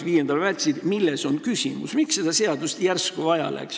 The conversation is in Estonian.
Miks ma küsisin, milles on küsimus, miks seda seadust järsku vaja läks?